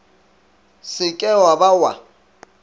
se ke wa ba wa